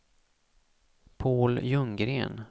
Paul Ljunggren